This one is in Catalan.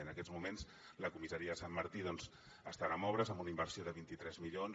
en aquests moments la comissaria de sant martí doncs estarà en obres amb una inversió de vint tres milions